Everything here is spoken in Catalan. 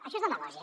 això és demagògia